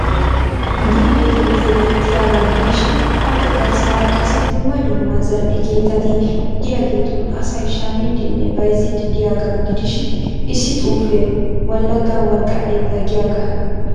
Gimbe keettay beettiyaagaa gidishiin appe garssaara qassi dumma dumma zal'e keettati de'iyaagettuun asay shamiidinne bayzzidi de'iyaagaa gidishiin issi xuufee wolaga worqqa keettaa giyagaa.